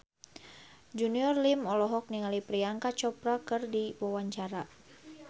Junior Liem olohok ningali Priyanka Chopra keur diwawancara